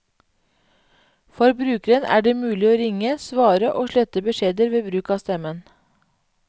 For brukeren er det mulig å ringe, svare og slette beskjeder ved bruk av stemmen.